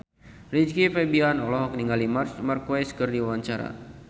Rizky Febian olohok ningali Marc Marquez keur diwawancara